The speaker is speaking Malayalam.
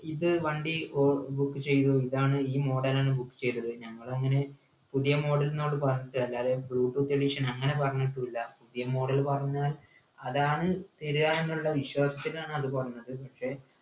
ഇത് വണ്ടി ഓ book ചെയ്തു ഇതാണ് ഈ model ആണ് book ചെയ്തത് ഞങ്ങളങ്ങനെ പുതിയ model നോട് പറഞ്ഞിട്ട് കാര്യല്ല അത് bluetooth edition അങ്ങനെപറഞ്ഞിട്ടും ഇല്ല പുതിയ model പറഞ്ഞാൽ അതാണ് തരുക എന്നുള്ള വിശ്വാസത്തിലാണ് അത് പറഞ്ഞത് പക്ഷെ